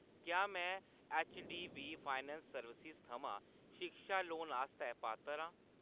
क्या मैं HDB finance services थमां शिक्षा लोन आस्तै पात्तर आं ?